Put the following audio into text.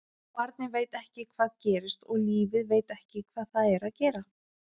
Og barnið veit ekki hvað gerist og lífið veit ekki hvað það er að gera.